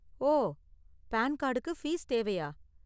ஓ, PAN கார்டுக்கு fees தேவையா?